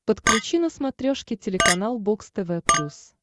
подключи на смотрешке телеканал бокс тв плюс